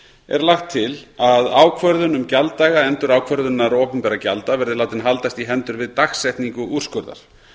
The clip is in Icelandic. er lagt til að ákvörðun um gjalddaga endurákvörðunar opinberra gjalda verði látin haldast í hendur við dagsetningu úrskurðar